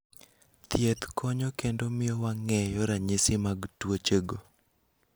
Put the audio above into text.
Thiedh konyo kendo mio wang'eyo ranyisi mag tuoche go